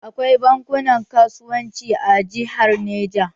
Akwai bankunan kasuwanci a jihar Neja.